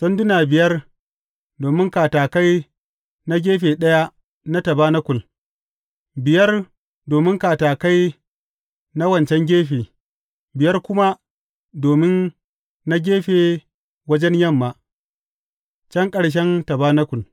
Sanduna biyar domin katakai na gefe ɗaya na tabanakul, biyar domin katakai wancan gefe, biyar kuma domin na gefe wajen yamma, can ƙarshen tabanakul.